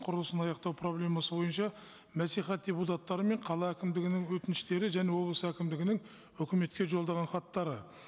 құрылысын аяқтау проблемасы бойынша мәслихат депутаттары мен қала әкімдігінің өтініштері және облыс әкімдігінің өкіметке жолдаған хаттары